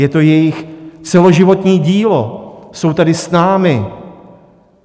Je to jejich celoživotní dílo, jsou tady s námi.